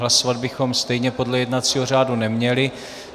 Hlasovat bychom stejně podle jednacího řádu neměli.